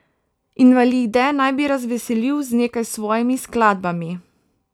Invalide naj bi razveselil z nekaj svojimi skladbami.